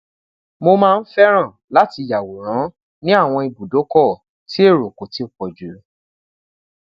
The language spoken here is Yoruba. mo maa n fẹran lati yaworan ni awọn ibudokọ ti ero ko ti pọ ju